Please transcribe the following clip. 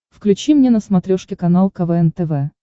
включи мне на смотрешке канал квн тв